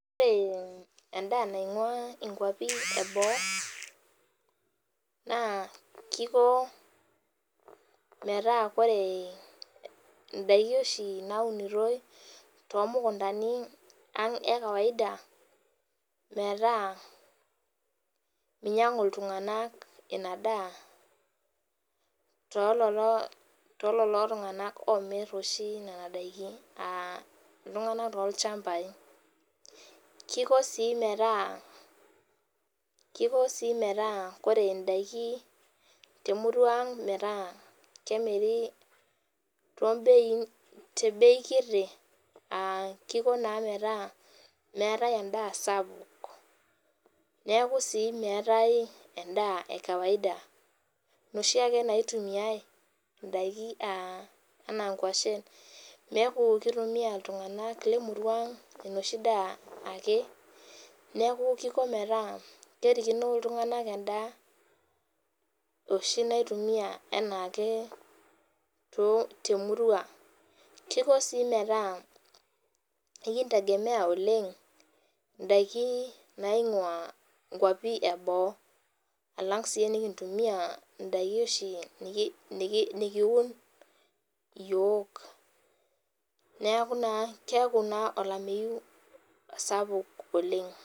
Ore enda naingua nkwapi eboo na kiko metaa koree ndaki oshi naunitoi tomukundani aang e kawaida metaa minyangu ltunganak inadaa tololo tunganak omit nona dakin aa ltunganak lolchambai kiko si metaa koree ndakini temurua aang metaa kemiri tebei kiti aa liko metaa meetae endaa sapuk neaku meetae endaa ekawaida noshiake naitumiai ndaki anaa nkwashenneaku kitumia ltunganak lemurua aang enoshi daa ake neaku kiko metaa kerikino ltunganak endaa oshi naitumia anaa ake temurua kiko si metaa ekintegemea oleng ndakin naingua boo alang si enikintumia ndakini oshi nikiun yiok neaku keaku na olameyu sapuk oleng.